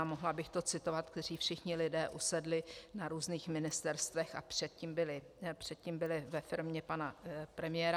A mohla bych to citovat, kteří všichni lidé usedli na různých ministerstvech a předtím byli ve firmě pana premiéra.